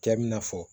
Cɛ bɛna fɔ